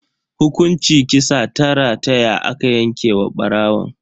Hukunci kisa ta rataya aka yanke wa barawon.